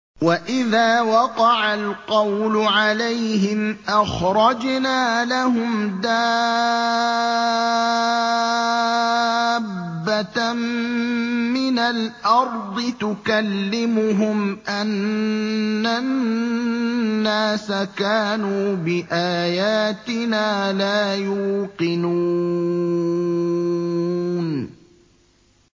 ۞ وَإِذَا وَقَعَ الْقَوْلُ عَلَيْهِمْ أَخْرَجْنَا لَهُمْ دَابَّةً مِّنَ الْأَرْضِ تُكَلِّمُهُمْ أَنَّ النَّاسَ كَانُوا بِآيَاتِنَا لَا يُوقِنُونَ